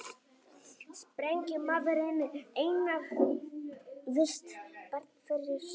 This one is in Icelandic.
Sprengjumaðurinn eignaðist barn fyrir stuttu